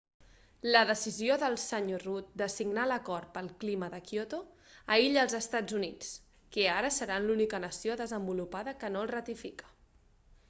la decisió del sr rudd de signar l'acord pel clima de kyoto aïlla els estats units que ara seran l'única nació desenvolupada que no el ratifica